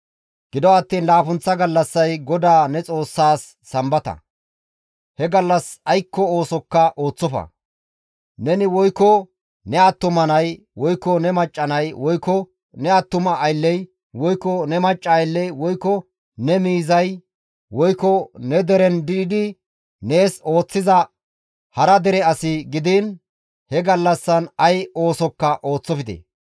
Gido attiin laappunththa gallassay GODAA ne Xoossaas Sambata. He gallas aykko oosokka ooththofa; neni woykko ne attuma nay, woykko ne macca nay, woykko ne attuma aylley, woykko ne macca aylley, woykko ne miizay, woykko ne deren diidi nees ooththiza hara dere as gidiin he gallassan ay oosokka ooththofte.